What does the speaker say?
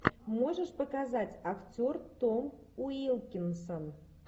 можешь показать актер том уилкинсон